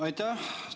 Aitäh!